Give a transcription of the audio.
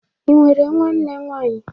Ị nwere nwa nna nwanyị?